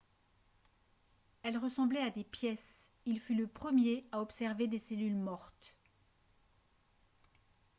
elles ressemblaient à des pièces il fut le premier à observer des cellules mortes